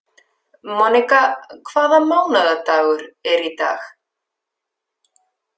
Monika, hvaða mánaðardagur er í dag?